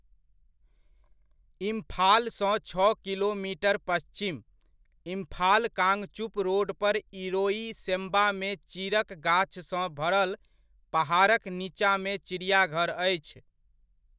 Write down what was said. इम्फालसँ छओ किलोमीटर पच्छिम, इम्फाल कांगचुप रोड पर इरोइसेम्बामे चीरक गाछसँ भरल पहाड़क नीचाँमे चिड़ियाघर अछि।